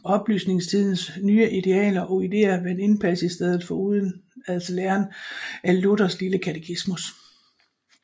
Oplysningstidens nye idealer og ideer vandt indpas i stedet for udenadslæren af Luthers lille Katekismus